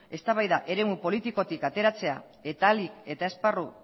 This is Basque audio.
eztabaida eremu politikotik ateratzea eta ahalik eta esparru